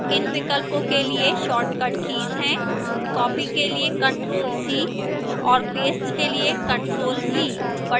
इन विकल्पों के लिए shortcut कीज हैं copy के लिए ctrl + c और paste के लिए ctrl + v